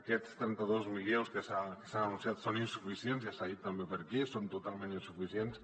aquests trenta dos milions que s’han anunciat són insuficients ja s’ha dit també per aquí són totalment insuficients